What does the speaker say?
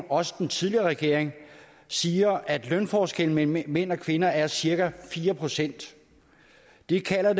også den tidligere regering siger at lønforskellen mellem mænd og kvinder er cirka fire procent det kalder